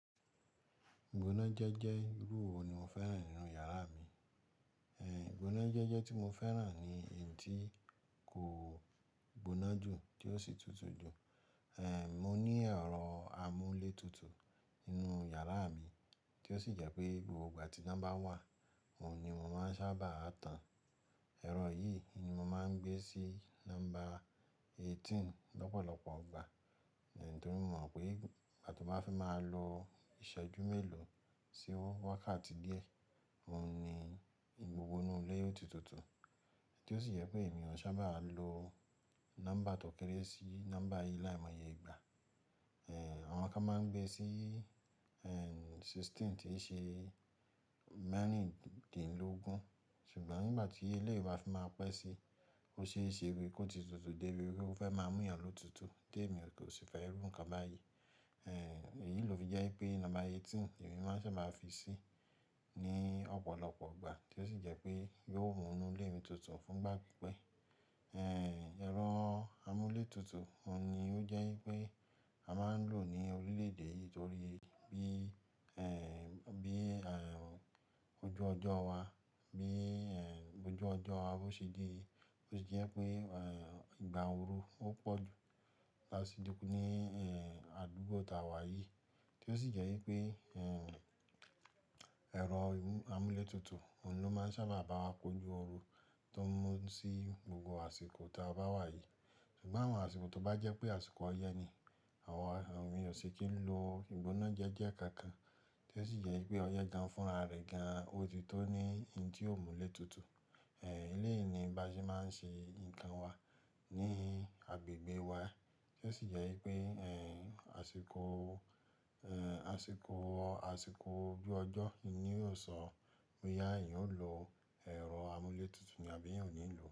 Ìgbónájẹ́jẹ́ irú wo ni mo fẹ́ràn nínú yàrá mi? Ẹ̀ ìgbónájẹ́jẹ́ tí mo fẹ́ràn ni èyí tí kò gbóná jù tí ó sì tutù jù. Ẹ̀ Mo ní ẹ̀rọ amúlé tutù nínú yàrá mi tí ó sì jẹ́ pé gbogbo ìgbà tí ná ba wà, oun ni mo máa ń sábà tán. Ẹ̀rọ yìí ni mo máa ń gbé sí ńombá eighteen lọ́pọ̀lọpọ̀ ọgbà. Ítorí mo mọ̀ pé ìgbà tí mo bá fi máa lo ìṣẹ́jú mélòó sí o wákàtí díẹ̀, oun ní gbogbo inu ilé yóò ti tutù. Tí ó sì jẹ́ pé èmi ò sábà lo ńombá tọkẹ́rẹ́ sí ńbá yìí láìmọye ìgbà. Ẹ̀h Àwọn kan máa ń gbé sí ẹ̀hn sixteen tí ṣe mẹ́rìndínlógún. Ṣùgbọ́n nígbà tí eleyii bà fi máa pẹ́ sí, óṣeeṣe bí ki ó ti tutù débi wí pé ó fẹ́ máa mú yàn ló tutù tí èmi kò sì fẹ́ iru ǹkan báyìí. Ẹ̀hn Èyí ló fi jẹ́ pé ńombá eighteen ni èmi máa ń sábà fi sí ní ọ̀pọ̀lọpọ̀ ọgbà tí ó sì jẹ́ pé yóò mú inú ilé mi tutù fún gbágbé pipe. Ẹ̀hn ẹ̀rọ amúlé tutù oun ni ó jẹ́ wípé a máa ń lò ní orílẹ̀ èdè yìí torí bí ẹ̀ bí ehn à ojú ọjọ́ wa, bí i ẹ̀hn ojú ọjọ́ wa bi ó ṣe di, ó sì jẹ́ pé ẹ̀ ìgbà ooru ó pọ̀ jù láti dínkù ní ẹ̀hn àdúgbò tá wa yìí tí ó sì jẹ́ wípé ẹ̀hn ẹ̀rọ imú amúlé tutù, òun ló máa ń sábà bá wa kojú ooru tó ń mú sí gbogbo àsìkò tí a bá wà yìí. Ṣùgbọ́n àwọn àsìkò tó bá jẹ́ pé àsìkò ọyẹ́ ni, àwọn ènìyàn ò ṣi kii lo ìgbónájẹ́jẹ́ kankan tí ó sì jẹ́ pé ọyẹ́ gan fúnra rẹ̀ gan, ó ti tó ní hin ti ò múlé tutù. Ẹ̀h eleyi ni bi ase máa ń ṣe nǹkan wa ní agbègbè wa tí ó sì jẹ́ wípé ẹ̀hn àsìkò ẹ̀hn àsìkò àsìkò ojú ọjọ́ ni yóò sọ wí pé boya eyan o lo ẹ̀rọ amúlé tutù ni àbí ẹ̀yàn ò ní lò ó.